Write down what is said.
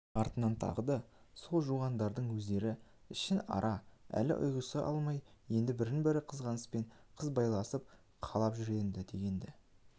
артынан тағы да сол жуандардың өздері ішін-ара әлі ұғыса алмай енді бірінен бірі қызғанысып қырбайласып қалып жүр дегенді